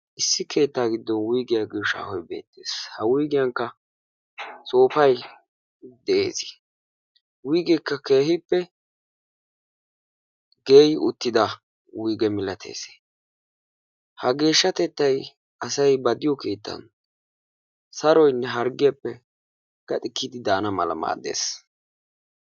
Issi keettaa giddon wuyggiya giyo shaahoy beettees. Ha wuygiyankka sooppay de'ees,. He wuyggekka keehippe geeyyi uttida wuygge malaatees. Ha geshshatettay asay ba diyo keettan saroynne harggiyaappe gaxxi kiyyidi daana mala maaddees.